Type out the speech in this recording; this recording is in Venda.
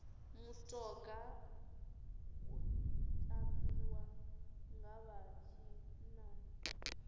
mutoga u tambiwa nga vha tshinnani